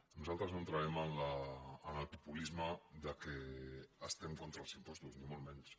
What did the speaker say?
nosaltres no entrarem en el populisme que estem contra els impostos ni molt menys